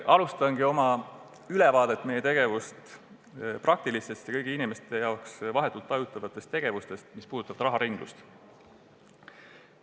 Alustangi oma ülevaadet meie tegevuse praktilistest ja kõigi inimeste jaoks vahetult tajutavatest tegevustest, mis puudutavad raharinglust.